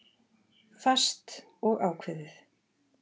Fast og ákveðið.